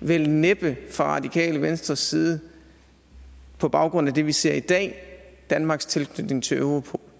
vel næppe fra radikale venstres side på baggrund af det vi ser i dag danmarks tilknytning til europol